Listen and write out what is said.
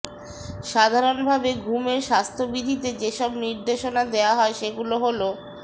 সাধারণভাবে ঘুমের স্বাস্থ্যবিধিতে যেসব নির্দেশনা দেওয়া হয় সেগুলো হলঃ